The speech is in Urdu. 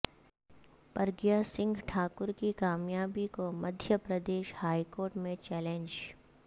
پرگیہ سنگھ ٹھاکر کی کامیابی کو مدھیہ پردیش ہائیکورٹ میں چیلنج